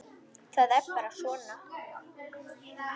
Það er bara svona.